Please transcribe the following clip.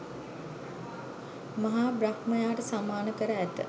මහා බ්‍රහ්මයාට සමාන කර ඇත.